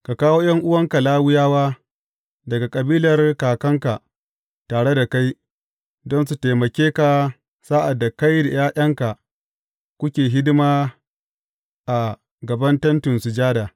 Ka kawo ’yan’uwanka Lawiyawa daga kabilar kakanka tare da kai, don su taimake ka sa’ad da kai da ’ya’yanka kuke hidima a gaban Tentin Sujada.